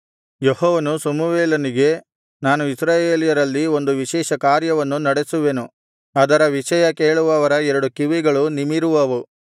ಯೆಹೋವನು ಸಮುವೇಲನಿಗೆ ನಾನು ಇಸ್ರಾಯೇಲ್ಯರಲ್ಲಿ ಒಂದು ವಿಶೇಷಕಾರ್ಯವನ್ನು ನಡೆಸುವೆನು ಅದರ ವಿಷಯ ಕೇಳುವವರ ಎರಡು ಕಿವಿಗಳೂ ನಿಮಿರುವುವು